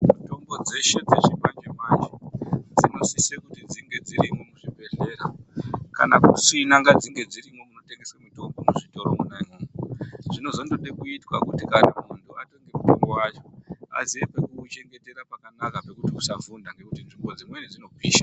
Mitombo dzeshe dzeshe dzechimanje-manje, dzinosise kuti dzinge dziri muchibhedhlera ,kana kusina ngadzinge dzirimwo munotengeswa mitombo muzvitoro mwona imwomwo. Zvinozondode kuitwa kuti kana muntu atenge mitombo wacho, aziye pekuuchengetera pakanaka pekuti usavhunda, ngekuti nzvimbo dzimweni dzinopisha.